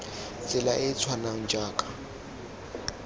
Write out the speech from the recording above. tsela e e tshwanang jaaka